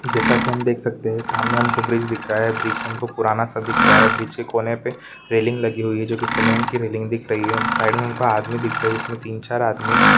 जैसा कि हम देख सकते हैं सामने हमको ब्रिज दिख रहा है ब्रिज हमको पुराना सा दिख रहा है ब्रिज के कोने पर रेलिंग लगी हुई है जो की सीमेंट की रेलिंग दिख रही है साइड में हमको आदमी दिख रहे जिसमें तीन-चार आदमी--